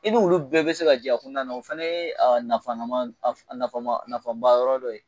I ni olu bɛɛ bɛ se ka jɛ a kɔnɔna na, o fana ye a nafama a nafa a nafa a ba yɔrɔ dɔ ye.